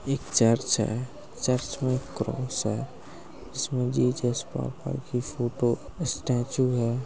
एक चर्च है चर्च मैं क्रॉस है इसमे जीजेस की फोटो स्टॅच्यु है।